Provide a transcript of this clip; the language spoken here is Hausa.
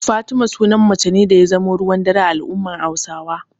Fatima sunan mace ne da ya zama ruwan dare a al'ummar Hausawa.